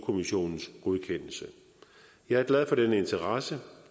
kommissionens godkendelse jeg er glad for den interesse